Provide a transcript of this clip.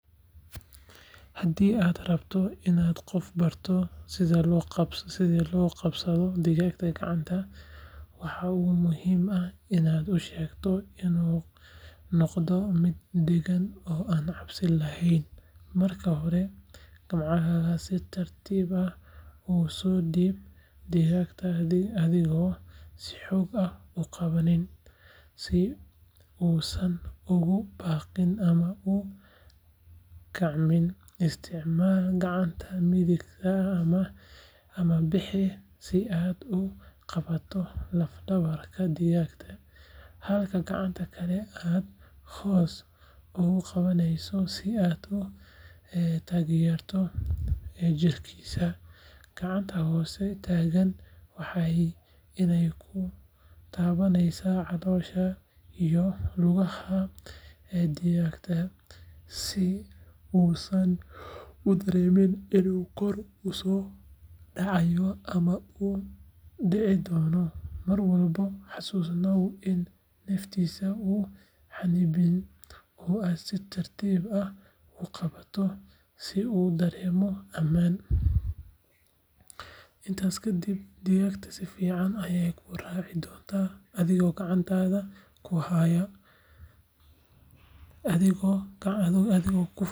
Hadii aad rabto inaad qof barto sida loo qabsado digaaga, waxaad ushegtaa loo qabto, marka hore si tartiib ah usoo diib, isticmaal gacanta midigta, halka gacanta kale hos ugu qabaneyso, waxeey kutabaneysa caloosha iyo luagaha digaaga, si uusan udareemin inuu dici doono, si uu udareemo amaan, intaas kadib sifican ayeey kuu raaci doonta.